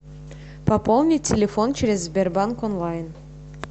пополни телефон через сбербанк онлайн